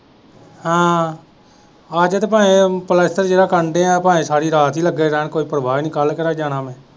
ਹਾਂ ਅੱਜ ਤੇ ਭਾਵੇਂ ਪਲਸਤਰ ਜਿਹੜਾ ਕਰਨ ਦੇ ਹੈ ਭਾਵੇਂ ਸਾਰੀ ਰਾਤ ਹੀ ਲੱਗੇ ਰਹਾਂ ਕੋਈ ਪਰਵਾਹ ਹੀ ਨਹੀਂ ਕੱਲ੍ਹ ਕਿਹੜਾ ਜਾਣਾ ਮੈਂ।